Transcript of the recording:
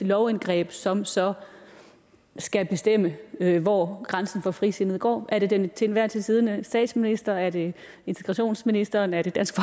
lovindgreb som så skal bestemme hvor grænsen for frisindet går er det den til enhver tid siddende statsminister er det integrationsministeren er det dansk